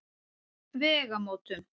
Vegamótum